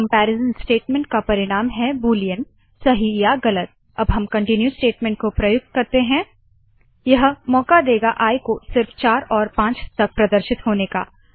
इस कमपेरीज़न का परिणाम है बूलियन160सही या गलत अब हम कंटीन्यू कन्टीन्यू स्टेटमेंट को प्रयुक्त करते है फोर आई 15 इफ आई3 then continue else disp end end यह मौका देगा आई को सिर्फ 4 और 5 तक प्रदर्शित होने का